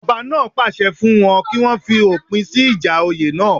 Ọba náà pàṣẹ fún wọn kí wọ́n fòpin sí ìjà oyè náà